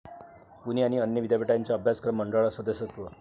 पुणे आणि अन्य विद्यापीठांच्या अभ्यासक्रम मंडळांवर सदस्यत्व